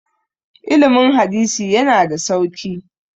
ilimin hadisi yana da sauki